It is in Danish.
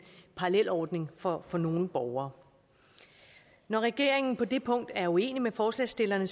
parallelordning for for nogle borgere når regeringen på det punkt er uenig med forslagsstillerne